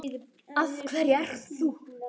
Af hverju ert þú.